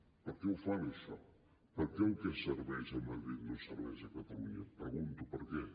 per què ho fan això per què el que serveix a madrid no serveix a catalunya pregunto per què